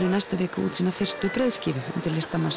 í næstu viku sína fyrstu breiðskífu undir